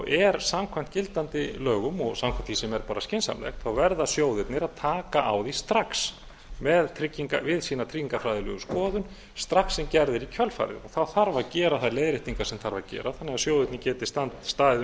er samkvæmt gildandi lögum og samkvæmt því sem er bara skynsamlegt þá verða sjóðirnir að taka á því strax við sína tryggingafræðilegu skoðun strax sem gerð er í kjölfarið þá þarf að gera þær leiðréttingar sem þarf að gera þannig að sjóðirnir getið staðið